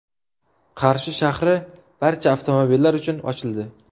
Qarshi shahri barcha avtomobillar uchun ochildi.